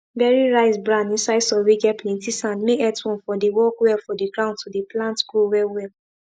bury rice bran inside soil whey get plenty sand make earthworm for dey work well for the ground to the plant grow well well